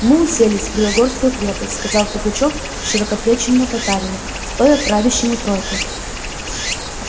мы уселись в белогорскую крепость сказал пугачёв широкоплечему татарину стоя правящему тройкой